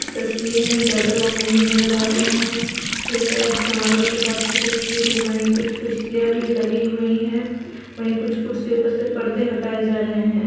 इस तस्वीर में ज्यादा लोग नहीं नजर आ रहे हैं ये शायद समारोह के बाद कि तस्वीर है वहीँ कुछ कुर्सियाँ भी लगी हुई हैं वहीं कुछ कुर्सियों पर से परदे हटाए जा रहे हैं।